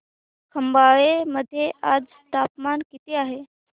खंबाळे मध्ये आज तापमान किती आहे